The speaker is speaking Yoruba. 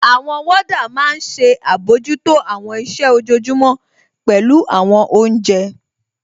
Àwọn wọ́ọ́dà máa n ṣe àbojútó àwọn iṣẹ́ ojojúmọ́, pẹ̀lú àwọn oúnjẹ